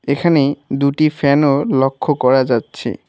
এখানে দুটি ফ্যানও লক্ষ করা যাচ্ছে।